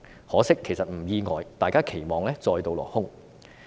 可惜——其實並不意外——大家的期望再度落空。